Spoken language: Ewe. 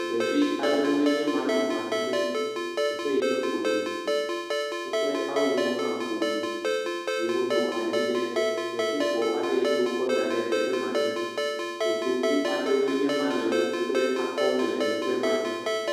Ɖevi aɖewo enye ma nɔ anyi ɖe teƒe yike ƒo ɖi, woƒe awuwo hã ƒo ɖi eye wonɔ anyi ɖe kletifɔ aɖe yike wokɔ da ɖe teƒe ma dzi. Kotoku aɖewo enye ma le woƒe akɔme le teƒe ma.